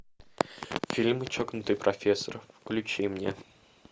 фильм чокнутый профессор включи мне